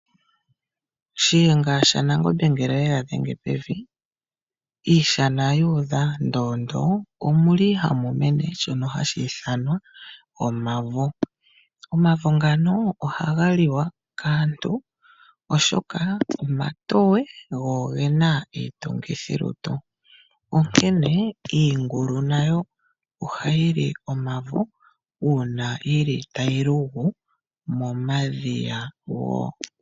OShiyenga shaNangombe ngele oye ga dhenge pevi, iishana yu udha unene, omuli hamu mene shoka hashi ithanwa omavo. Omavo ngano ohaga liwa kaantu oshoka omatoye go oge na iitungithilutu. Onkene iingulu nayo ohayi li omavo uuna yili tayi lumbu momadhiya wo.